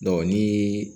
ni